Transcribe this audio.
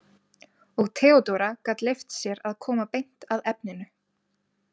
Og Theodóra gat leyft sér að koma beint að efninu.